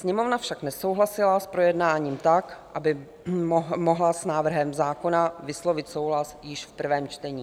Sněmovna však nesouhlasila s projednáním tak, aby mohla s návrhem zákona vyslovit souhlas již v prvém čtení.